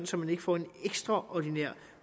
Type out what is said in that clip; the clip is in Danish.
så man ikke får en ekstraordinært